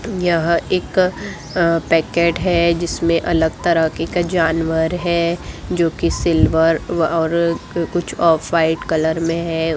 यह एक अ पैकेट है जिसमे अलग तरह के क जानवर है जो की सिल्वर कुछ अ व्हाइट कलर में है।